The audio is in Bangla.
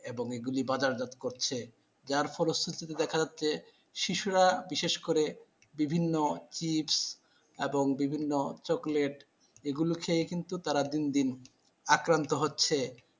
এবং এগুলি বাজার জাত করছে, যার ফলশ্রুতিতে দেখা যাচ্ছে শিশুরা বিশেষ করে বিভিন্ন kit এবং বিভিন্ন chocolate এগুলো খেয়ে কিন্তু তারা দিন দিন আক্রান্ত হচ্ছে ।